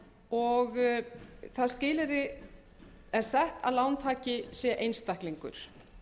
og það skilyrði er sett að lántaki sé einstaklingur